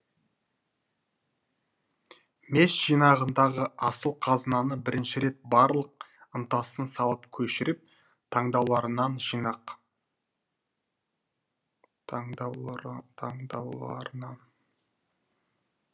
мес жинағындағы асыл қазынаны бірінші рет барлық ынтасын салып көшіріп таңдаулыларынан жинақ